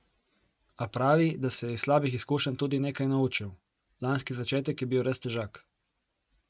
A pravi, da se je iz slabih izkušenj tudi nekaj naučil: 'Lanski začetek je bil res težak.